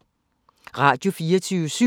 Radio24syv